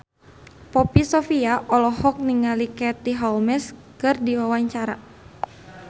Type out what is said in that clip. Poppy Sovia olohok ningali Katie Holmes keur diwawancara